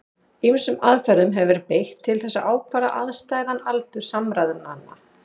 Ýmsum aðferðum hefur verið beitt til þess að ákvarða afstæðan aldur samræðnanna.